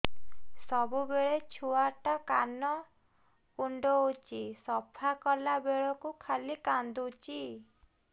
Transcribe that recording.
ସବୁବେଳେ ଛୁଆ ଟା କାନ କୁଣ୍ଡଉଚି ସଫା କଲା ବେଳକୁ ଖାଲି କାନ୍ଦୁଚି